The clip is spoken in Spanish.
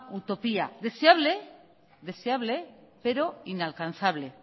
utopía deseable pero inalcanzable